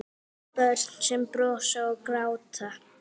Börn sem brosa og gráta.